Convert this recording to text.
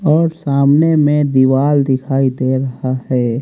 और सामने में दीवाल दिखाई दे रहा है।